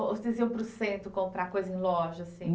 Ou vocês iam para o centro comprar coisa em loja, assim?